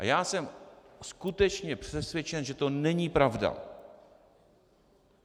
A já jsem skutečně přesvědčen, že to není pravda.